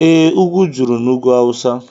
Ee, ugwu juru n'ugwu awụsa